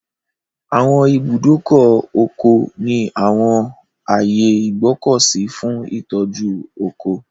Àwọn ibùdókọ̀ ọkọ̀ ní àwọn ààyè ìgbọ́kọ̀sí fún ìtọ́jú ọkọ̀.